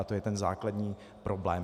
A to je ten základní problém.